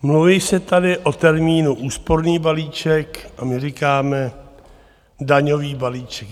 Mluví se tady o termínu úsporný balíček, a my říkáme daňový balíček.